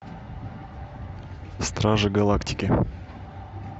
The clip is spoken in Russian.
стражи галактики